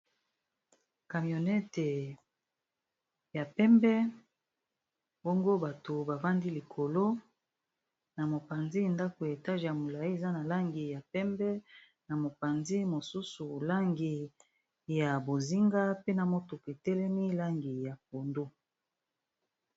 Kamionete ya pembe bango bato ba bandi likolo na mopanzi ndako ya etage ya molai eza na langi ya pembe, na mopanzi mosusu langi ya bozinga pena motoketelemi langi ya pondo.